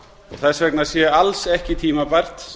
þess vegna sé alls ekki tímabært